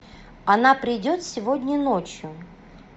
она придет сегодня ночью